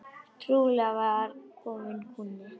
Trúlega var kominn kúnni.